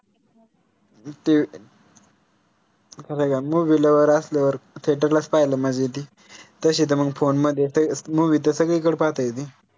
ते एखादा movie lover असल्यावर theater लाच पाहायला मजा येती तशी त मंग phone मध्ये त movie सगळीकडे पाहता येती